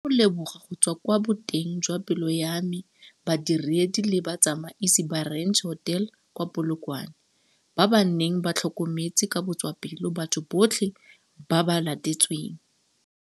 Ke rata go leboga go tswa kwa boteng jwa pelo ya me badiredi le batsamaisi ba Ranch Hotel kwa Polokwane, ba ba neng ba tlhokometse ka botswapelo batho botlhe ba ba latetsweng.